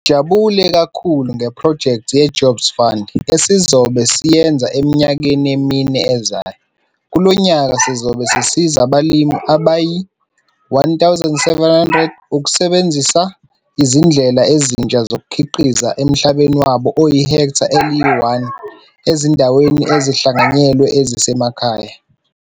Sijabule kakhulu ngephrojekthi ye-Jobs Fund esizobe siyenza eminyakeni emine ezayo - kulo nyaka sizobe sisiza abalimi abayi1 700 ukusebenzisa izindlela ezintsha zokukhiqiza emhlabeni wabo oyi-hektha eli-1 ezindaweni ezihlanganyelwe ezisemakhaya.